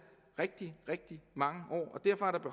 rigtig rigtig mange